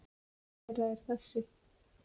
Ein þeirra er þessi.